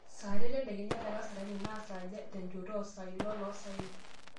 saa are tedekenya tekasarani naa saaja tenchoto oosaai oloosaen